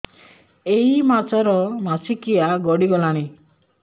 ଏଇ ମାସ ର ମାସିକିଆ ଗଡି ଗଲାଣି